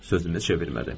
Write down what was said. sözünə çevirmədi.